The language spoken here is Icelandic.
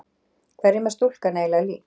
Hverjum er stúlkan eiginlega lík?